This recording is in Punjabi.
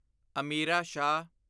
ਅਮੀਰਾ ਸ਼ਾਹ